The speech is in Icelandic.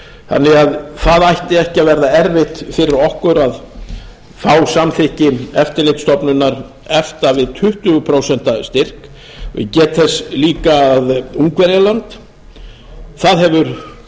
þannig að það ætti ekki að verða erfitt fyrir okkur að fá samþykki eftirlitsstofnunar efta við tuttugu prósent styrk ég get þess líka að ungverjaland hefur